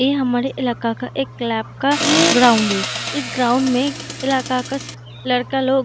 ये हमारे इलाका का एक क्लैप का ग्राउंड है इस ग्राउंड में इलाका का लड़का लोग --